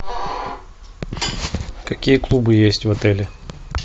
какие клубы есть в отеле